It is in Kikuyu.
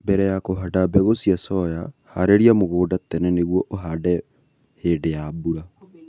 mbele ya kũhanda mbegu cia soya, harĩria mũgũnda tene nĩgũo ũhande hĩndĩ ya mbura